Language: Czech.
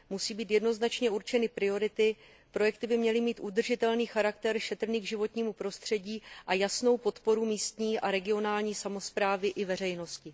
Musí být jednoznačně určeny priority, projekty by měly mít udržitelný charakter šetrný k životnímu prostředí a jasnou podporu místní a regionální samosprávy i veřejnosti.